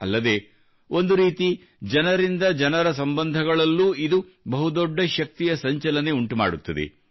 ಅಲ್ಲದೆ ಒಂದು ರೀತಿ ಜನರಿಂದ ಜನರ ಸಂಬಂಧಗಳಲ್ಲೂ ಇದು ಬಹು ದೊಡ್ಡ ಶಕ್ತಿಯ ಸಂಚಲನ ಉಂಟುಮಾಡುತ್ತದೆ